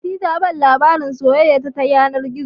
Fati ta bani labarin soyayya ta yanar gizo